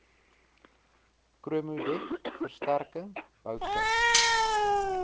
chromodek versterking boute